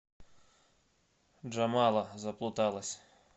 джамала заплуталась